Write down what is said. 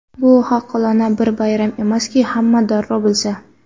Bu xalqona bir bayram emaski, hamma darrov bilsa.